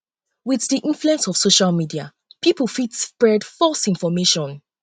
with di influence of social media pipo fit spread false information